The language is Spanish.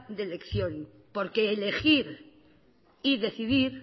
de elección porque elegir y decidir